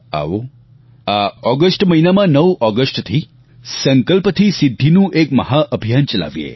આવો આ ઓગસ્ટ મહિનામાં 9 ઓગસ્ટથી સંકલ્પ થી સિદ્ધીનું એક મહાઅભિયાન ચલાવીએ